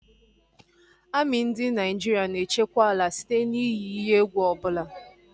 Amị ndị Naịjirịa na-echekwa ala site n'ihe iyi egwu ọbụla